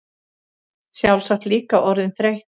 Sjálfsagt líka orðin þreytt.